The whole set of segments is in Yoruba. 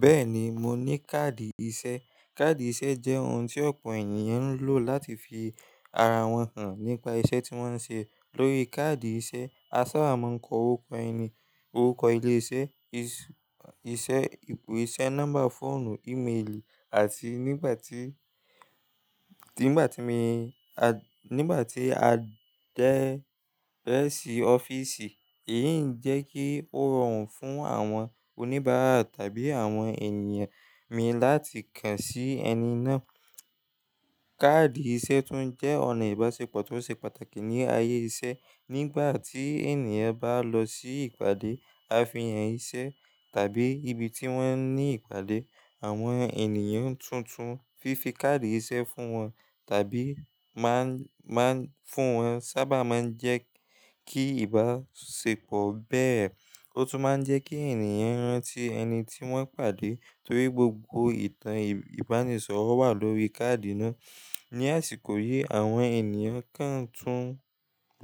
Bẹ́ẹ̀ni, mo ní káàdì iṣẹ́. Káàdì iṣẹ́ jẹ́ ohun tí ọ̀pọ̀ ènìyàn ń lò láti fi ara wọn hàn nípa iṣẹ́ tí wọ́n ń ṣe. Lórí káàdì iṣẹ́, a sábà máa ń kọ orúkọ ẹni, orúkọ ilé iṣẹ́, isẹ́, ipò iṣẹ́, nọ́mbà fóònù, ímeèlì àti nígbà tí, tí, nígbà tí mi, a, nígbà tí a dẹ́rẹ̀ sí ọ́fíìsì, èyí ń jẹ́ kí ó rọrùn fún àwọn oníbàárà tàbí àwọn ènìyàn mi láti kàn sí ẹni náà. Káàdì iṣẹ́ tún jẹ́ ọ̀nà ìbáṣepọ̀ tó ṣe pàtàkì ní ayé iṣẹ́. Nígbà tí ènìyàn bá lọ sí ìpàdé ààfin ìṣe tàbí ibi tí wọ́n ní ìpàdé, àwọn ènìyàn tuntun fi fi káàdì iṣẹ́ fún wọn tàbí má ń, má ń fún wọn sábà máa ń jẹ́ kí ìbáṣepọ̀ bẹ́ẹ̀. Ó tún máa ń jẹ́ kí ènìyàn rántí ẹni tí wọ́n pàdé torí gbogbo ìtàn ìbánisọ̀rọ̀ wà lórí káàdì náà. Ni àsìkò yìí, àwọn ènìyàn kan tún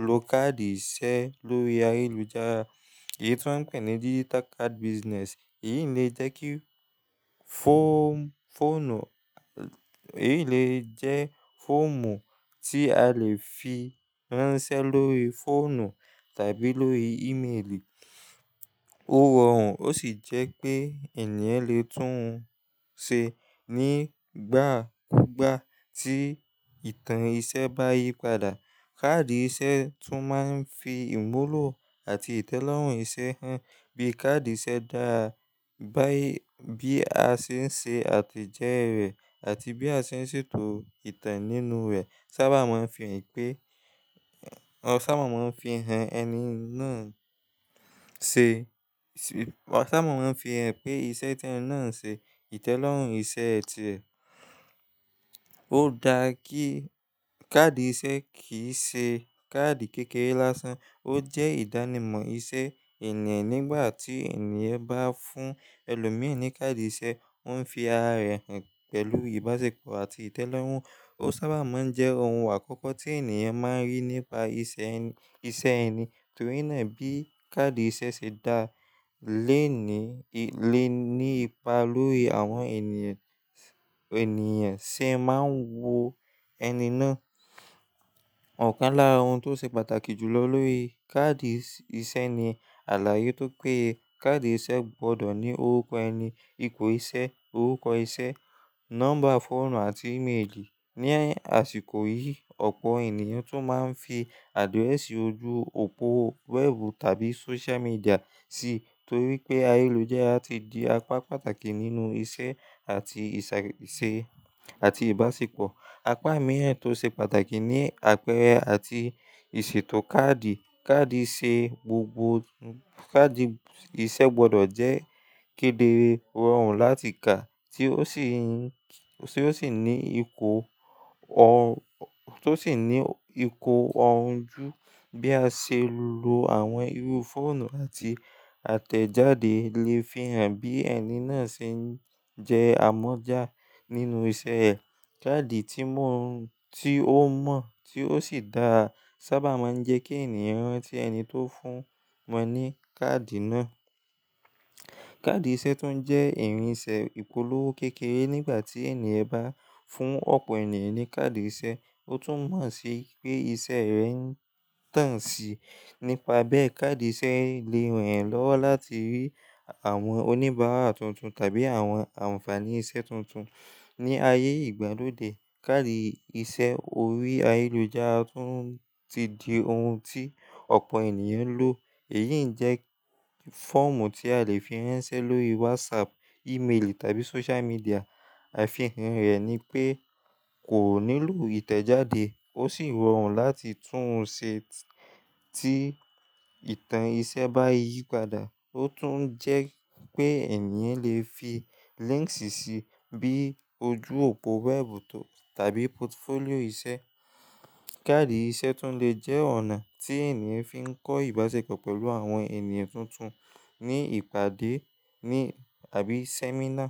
lo káàdì iṣẹ́ lórí ayélujára. Èyí tí wọ́n ń pè ní digital card business. Èyí lè jẹ́ kí fọ́ọ̀mù, fọ́ònù, èyí lè jẹ́ fọ́ọ̀mù tí a lè fi ránṣẹ́ lórí fóònù tàbí lórí ímeèlì. Ó rọrùn ó sì jẹ́ pé ènìyàn lè tún un ṣe nígbà kúgbà tí ìtàn iṣẹ́ bá yípadà. Káàdì iṣẹ́ tún máa ń fi imúlù àti ìtẹ́lọ́rùn iṣẹ́ hàn. Bí káàdì iṣẹ́ dá a, bá i, bí a ṣe ń ṣe àtẹ̀jẹ́ rẹ̀ àti bí a ṣe ń ṣètò ìtàn nínú rẹ̀ sábà máa ń fi hàn pé, ọ sábà máa ń fi hàn ẹni náà ṣe, ọ sábà máa ń fi hàn pé iṣẹ́ tí ẹni náà ń ṣe, ìtẹ́lọ́rùn iṣẹ́ẹ̀ ti ẹ̀. Ó dáa kí káàdì iṣẹ́ kì í ṣe káàdì kékeré lásán, ó jẹ́ ìdánimọ̀ iṣẹ́ ènìyàn. Nígbà tí ènìyàn bá fún ẹlòmíràn ní káàdì iṣẹ́, ó ń fi ara rẹ̀ hàn pẹ̀lú ìbáṣepọ̀ àti ìtẹ́lọ́rùn. Ó sábà máa ń jẹ́ ohun àkọ́kọ́ tí ènìyàn máa rí nípa iṣẹ́ ẹni, iṣẹ́ ẹni torí náà bí káàdì iṣẹ́ ṣe dá a lẹ́ni, lè ní ipa lórí àwọn ènìyàn, ènìyàn ṣe máa ń wo ẹni náà. Ọ̀kan lára ohun tó ṣe pàtàkì jù lọ lórí káàdì iṣẹ́ ni àlàyé tó péye káàdì iṣẹ́ gbọdọ̀ ní orúkọ ẹni, ipò iṣẹ́, orúkọ iṣẹ́, nọ́mbà fóònù àti ímeèlì. Ni àsìkò yìí, ọ̀pọ̀ ènìyàn tún máa ń fi àdírẹ́sì ojú òpó wẹ́ẹ̀bù tàbí social media sí torí pé ayélujára ti di apá pàtàkì nínú iṣẹ́ àti ìsà, ìṣe àti ìbáṣepọ̀. Apá mìíràn tó ṣe pàtàkì ni àpẹẹrẹ àti ìṣètò káàdì. Káàdì iṣẹ́ gbogbo, káàdì iṣẹ́ gbọdọ̀ jẹ́ kéderé, rọrùn láti kà tí ó sì ń, tí ó sì ní ìkó òun, tó sì ní ìkó òun jú. Bí a ṣe lo àwọn irú fóònù àti àtẹ̀jáde lè fi hàn bí ẹni náà ṣe ń jẹ́ amọ́jà nínú iṣẹ́ ẹ̀. Káàdì tí mọ, tí ó mọ̀, tí ó sì dáa sábà máa ń jẹ́ kí ènìyàn rántí ẹni tó fún wọn ní káàdì náà. Káàdì iṣẹ́ tún jẹ́ ẹ̀rín iṣẹ́ ìpolówó kékeré. Nígbà tí ènìyàn bá fún ọ̀pọ̀ ènìyàn ní káàdì iṣẹ́, ó tún mọ̀ sí pé iṣẹ́ rẹ̀ ń tàn sí. Nípa bẹ́ẹ̀, káàdì iṣẹ́ lè ràn ẹ́ lọ́wọ́ láti rí àwọn oníbàárà tuntun tàbí àwọn àǹfààní iṣẹ́ tuntun. Ni ayé ìgbàlódé, káàdì iṣẹ́ orí ayélujára tún ti di ohun tí ọ̀pọ̀ ènìyàn ń lò. Èyí ń jẹ́ fọ́ọ̀mù tí a lè fi ránṣẹ́ lórí wásáàpù, ímeèlì tàbí social media. Àfihàn rẹ̀ ni pé kò nílò ìtẹ̀jáde, ó sì rọrùn láti tún un ṣe tí ìtàn iṣẹ́ bá yípadà. Ó tún ń jẹ́ pé ènìyàn lè fi líńkì síi bíi ojú òpó wẹ́ẹ̀bù tò tàbí pòtufólíò iṣẹ́. Káàdì iṣẹ́ tún lè jẹ́ ọ̀nà tí ènìyàn fi ń kọ́ ìbáṣepọ̀ pẹ̀lú àwọn ènìyàn tuntun ní ìpàdé ní àbí sẹ́mínà.